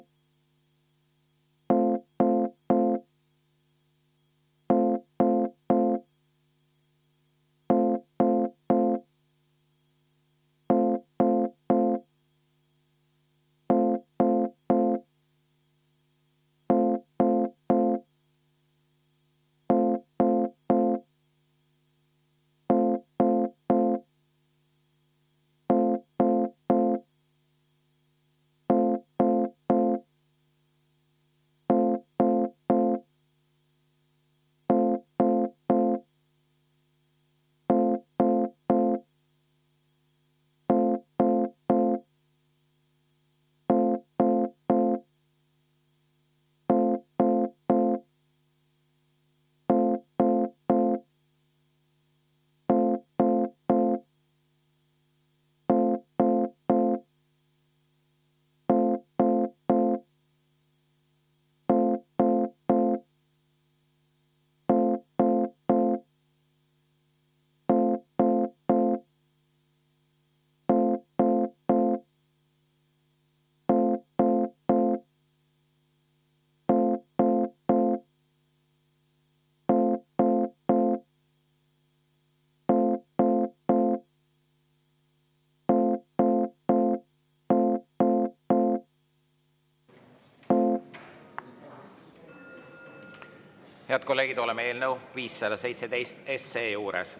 Head kolleegid, oleme eelnõu 517 juures.